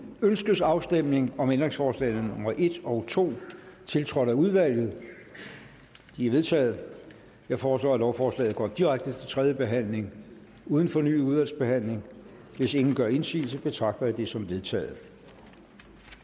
ønskes afstemning om ændringsforslagene nummer en og to tiltrådt af udvalget de er vedtaget jeg foreslår at lovforslaget går direkte til tredje behandling uden fornyet udvalgsbehandling hvis ingen gør indsigelse betragter jeg det som vedtaget